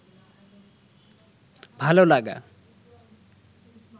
ভাল লাগা